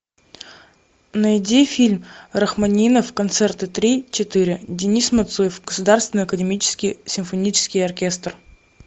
найди фильм рахманинов концерты три четыре денис мацуев государственный академический симфонический оркестр